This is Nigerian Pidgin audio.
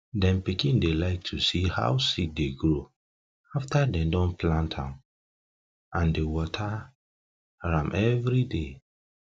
dem pikin dey like to see how seed dey grow after dem don plant am and dey water am every day